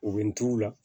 U bɛ n t'u la